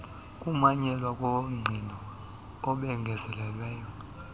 kumanyelwa kobungqina obengezelelweyo